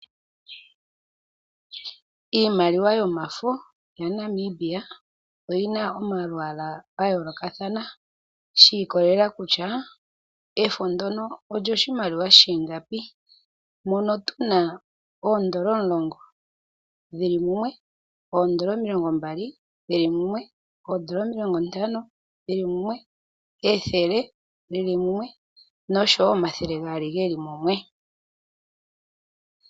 Iimaliwa yomafo yaNamibia oyi na omalwaala ga yoolokathana shi ikwatelela kutya efo ndyono olyoshimaliwa shi ingapi, mono tu na oodolla omulongo dhi li mumwe, oodolla omilongo mbali dhi li mumwe, oodolla omilongo ntano dhi li mumwe, ethele lyi li mumwe osho wo omathele gaali ge li mumwe.